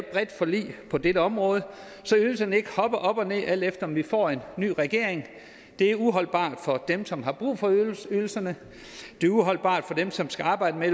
bredt forlig på dette område så ydelserne ikke hopper op og ned alt efter om vi får en ny regering det er uholdbart for dem som har brug for ydelserne det er uholdbart for dem som skal arbejde med